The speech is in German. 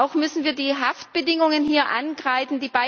Auch müssen wir die Haftbedingungen hier ankreiden.